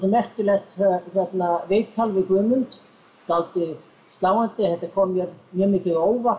merkilegt viðtal við Guðmund dálítið sláandi þetta kom mér mjög mikið á óvart